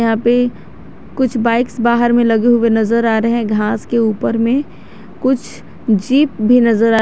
अभी कुछ बाइक्स बाहर में लगे हुए नजर आ रहे हैं घास के ऊपर में कुछ जीप भी नजर आ--